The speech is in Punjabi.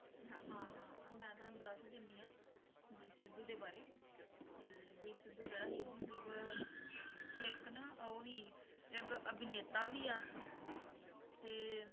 ਹਾਂ ਹਾਂ ਮੈਂ ਤੁਹਾਨੂੰ ਦੱਸ ਦਿੰਦੀ ਹਾਂ, ਦੀਪ ਸਿੱਧੂ ਦੇ ਬਾਰੇ ਕਿ ਦੀਪ ਸਿੱਧੂ ਜਿਹੜਾ ਸੀ ਉਹ ਮਤਲਬ ਇੱਕ ਨਾ ਉਹ ਸੀ ਇੱਕ ਅਭਿਨੇਤਾ ਵੀ ਆ ਤੇ